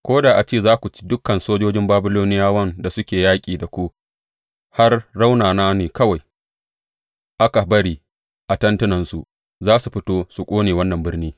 Ko da a ce za ku ci dukan sojojin Babiloniyawan da suke yaƙi da ku har raunana ne kawai aka bari a tentunansu, za su fito su ƙone wannan birni.